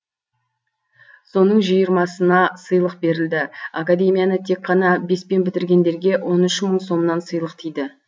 соның жиырмасына сыйлық берілді академияны тек қана беспен бітіргендерге он үш мың сомнан сыйлық тиді